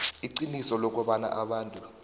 iqiniso lokobana abantu